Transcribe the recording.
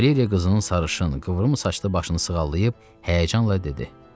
Valeriya qızının sarışın, qıvrım saçlı başını sığallayıb həyəcanla dedi: